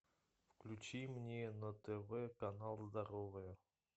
включи мне на тв канал здоровье